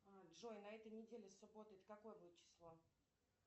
джой на этой неделе суббота это какое будет число